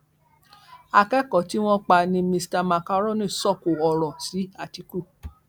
akẹkọọ tí wọn pa ni mr macaroni sọkò ọrọ sí atiku